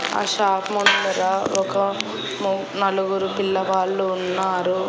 ఆ షాప్ ముందర ఒక ము నలుగురు పిల్లవాళ్ళు ఉన్నారు.